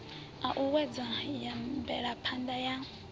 a o uuwedza mvelaphana ya